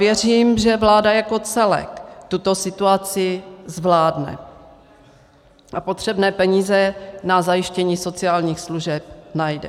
Věřím, že vláda jako celek tuto situaci zvládne a potřebné peníze na zajištění sociálních služeb najde.